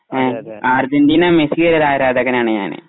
Argentina മെസ്സിയുടെ ആരാധകനാണ്.